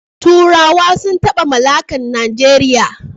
Turawa sun taba mallakan Najeriya